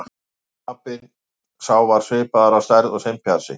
Apinn sá var svipaður að stærð og simpansi.